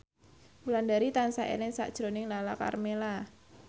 Wulandari tansah eling sakjroning Lala Karmela